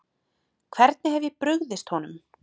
Hvernig hef ég brugðist honum?